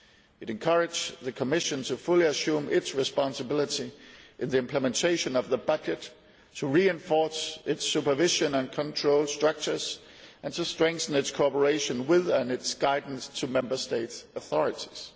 It encouraged the Commission to fully assume its responsibility in the implementation of the budget, to reinforce its supervision and control structures and to strengthen its cooperation with and its guidance to Member State authorities.